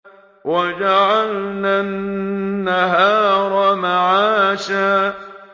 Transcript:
وَجَعَلْنَا النَّهَارَ مَعَاشًا